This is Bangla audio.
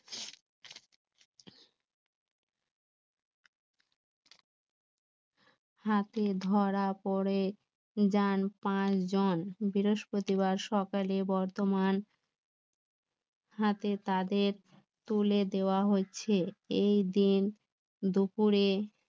হাতে ধরা পড়ে যান পাঁচজন বৃহস্পতিবার সকালে বর্ধমানে হাতে তাদের তুলে দেওয়া হচ্ছে এই দিন দুপুরে